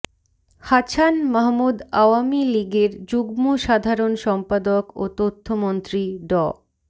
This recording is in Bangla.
হাছান মাহমুদ আওয়ামী লীগের যুগ্ম সাধারণ সম্পাদক ও তথ্যমন্ত্রী ড